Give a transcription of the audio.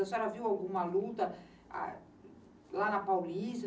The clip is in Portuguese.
A senhora viu alguma luta lá na Paulista?